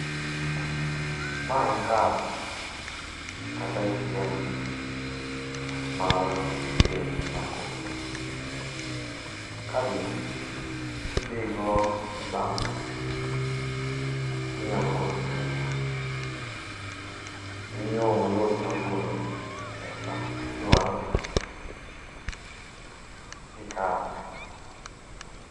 Ma en kad, kata atm mar bengi mar cooperative. Kad ni kidhigo e bank, tinyalo golo pesa. En yo mayot mar golo pesa midwaro gi kad.